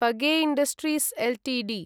page industries Ltd